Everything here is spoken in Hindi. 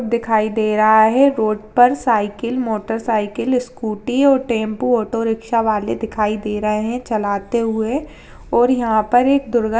दिखाई दे रहा है रोड पर मोटरसाइकिल साइकिल स्कूटी ओ टेम्पो ऑटो-रिक्शा वाले दिखाई दे रहे हैं चलाते हुए और यहां पर एक दुर्गा --